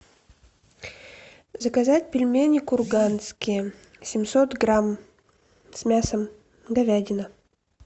заказать пельмени курганские семьсот грамм с мясом говядина